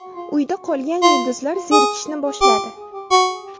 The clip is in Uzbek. Uyda qolgan yulduzlar zerikishni boshladi.